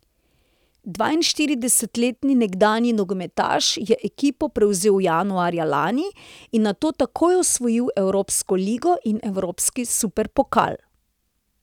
Dvainštiridesetletni nekdanji nogometaš je ekipo prevzel januarja lani in nato takoj osvojil evropsko ligo in evropski superpokal.